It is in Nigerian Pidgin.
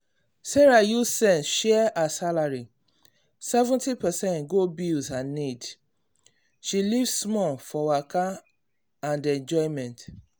sarah use sense share her salary – 70 percent go bills and need-need then she leave small for waka and enjoyment.